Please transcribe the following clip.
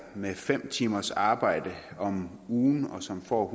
med fem timers arbejde om ugen som får